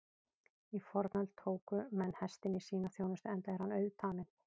Í fornöld tóku menn hestinn í sína þjónustu enda er hann auðtaminn.